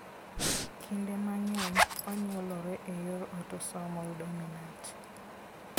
Kinde mang'eny, onyuolere e yor autosomal dominant.